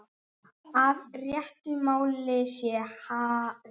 Að réttu máli sé hallað.